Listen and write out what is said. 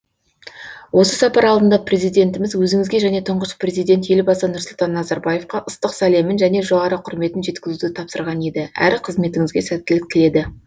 осы сапар алдында президентіміз өзіңізге және тұңғыш президент елбасы нұрсұлтан назарбаевқа ыстық сәлемін және жоғары құрметін жеткізуді тапсырған еді әрі қызметіңізге сәттілік тіледі